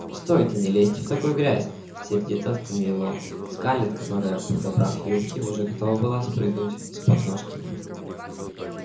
стойте не лезьте в такую грязь сердито остановил он скарлетт которая подобрав юбки уже готова была спрыгнуть с подножки